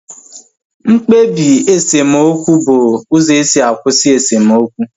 Mkpebi esemokwu bụ uzo esi akwụsị esemokwu